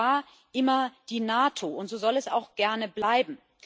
Das war immer die NATO, und so soll es auch gerne bleiben.